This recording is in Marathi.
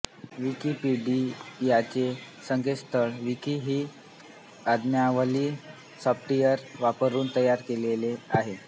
विकिपीडियाचे संकेतस्थळ विकी ही आज्ञावली सॉफ्टवेअर वापरून तयार केलेले आहे